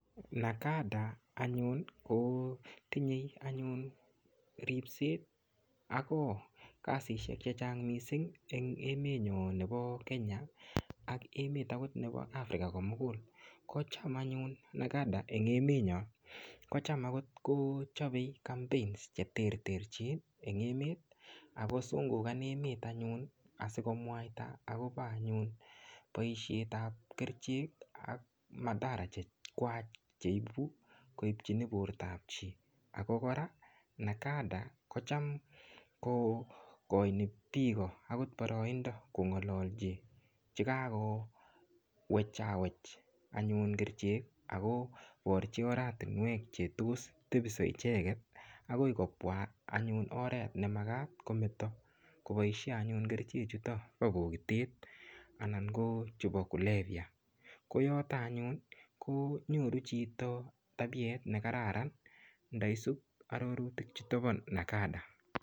NACADA anyun ko tinyei anyun ripset ako kasishek chechang mising anyun mising eng emetnyo nebo Kenya ak emet akot nebo African komugul kocham anyun NACADA eng emetnyo kocham akot kochopei campaign cheterterchin eng emet akosungukan emet anyun asikomwaita akopo anyun poishet ap kerichek ak madahara chekwach cheibu koipchini portaap chii ako kora NACAD kocham kokoini piko akot poroindo kongolochi chikako wecha wech anyun kerchek akoporchi oratunwek chetos tebiso icheget akoi kopwa anyun oret nemakat kometo anyun kopoishe kerchechuto po polotet anan ko chupo kulevya koyoto anyun konyoru chito tabiet nekararan ndaisup arorutik chuto po NACADA